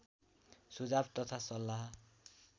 सुझाव तथा सल्लाह